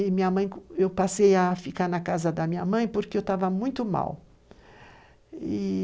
E minha mãe, eu passei a ficar na casa da minha mãe porque eu estava muito mal.